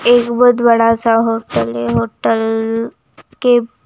एक बहुत बड़ा-सा होटल हैहोटल के--